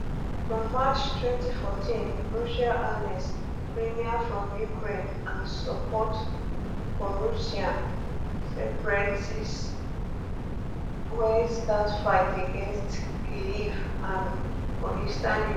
for march 2014 russia annex crimea from ukraine and support prorussian separatists wey start fight against kyiv army for eastern ukraine